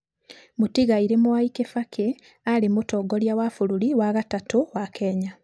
Mũtigairĩ Mwai Kĩbakĩ arĩ mũtongoria wa bũrũri wa gatatũ wa Kenya.